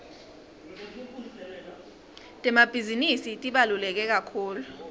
temabhizinisi tibalulekekakhulu